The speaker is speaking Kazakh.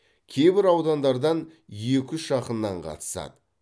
кейбір аудандардан екі үш ақыннан қатысады